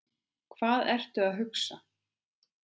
Hvað ertu að hugsa?